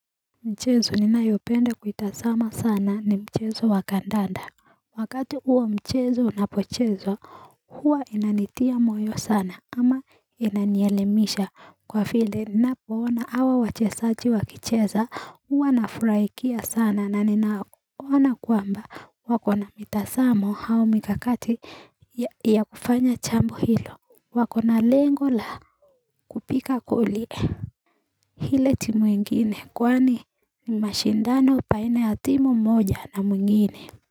Mchezo ninayopenda kuitazama sana ni mchezo wa kandanda Wakati uo mchezo unapochezwa huwa inanitia moyo sana ama inanielemisha kwa vile ninapoona hao wachezaji wakicheza huwa nafurahikia sana na ninaona kwamba wako na mitazamo au mikakati ya kufanya jambo hilo wako na lengo la kupiga goli ile timu ingine kwani ni mashindano baina ya timu moja na mwingine.